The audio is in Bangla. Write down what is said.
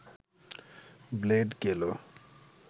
ব্লেড গেল